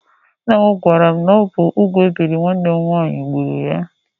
Ńnà m gwara m na ọ bụ úgwú ebiri nwanne m nwaanyị gbúrù ya.